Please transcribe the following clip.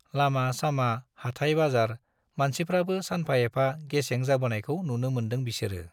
लामा - सामा , हाटाय - बाजार मानसिफ्राबो सानफा एफा गेसें जाबोनायखौ नुनो मोनदों बिसोरो ।